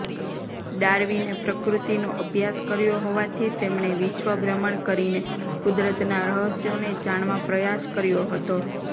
ડાર્વિને પ્રકૃતિનો અભ્યાસ કર્યો હોવાથી તેમણે વિશ્વ ભ્રમણ કરીને કુદરતના રહસ્યોને જાણવા પ્રયાસ કર્યો હતો